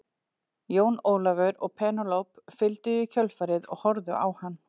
Jón Ólafur og Penélope fylgdu í kjölfarið og horfðu á hann.